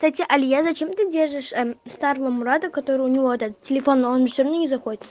кстати алия зачем ты держишь старого мурада который у него этот телефон он все равно не заходит